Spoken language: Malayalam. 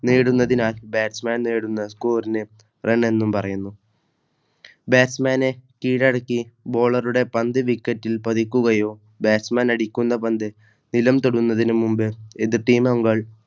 നേടുന്നതിനാൽ Batchman നേടുന്ന Scolar Run എന്നും പറയുന്നു. Batchman കീഴടക്കി Bowler പന്ത് വിക്കറ്റിൽ പതിക്കുകയോ Batchman അടിക്കുന്ന പന്ത് നിലം തൊടുന്നതിനു മുമ്പേ എതിർ Team